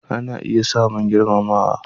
Ana iya samun girmama